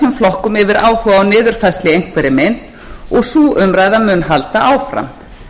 flokkum yfir áhuga á niðurfærslu í einhverri mynd og sú umræða mun halda áfram